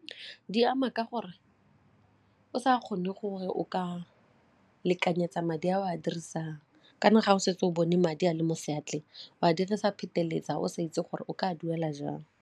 Di ama ka gore o sa kgone gore o ka lekanyetsa madi a o a dirisang kana ga o setse o bone madi a le mo seatleng o a dirisa phetelela o sa itse gore o ka duela jang.